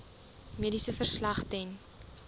mediese verslag ten